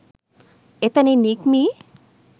එතැනින් නික්මී